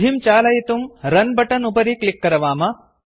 विधिं चालयितुं रन् रुन् बटन् उपरि क्लिक् करवाम